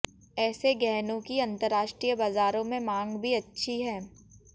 ऐसे गहनों की अंतरराष्ट्रीय बाजारों में मांग भी अच्छी है